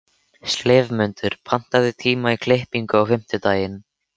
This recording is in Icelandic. slefmundur, pantaðu tíma í klippingu á fimmtudaginn.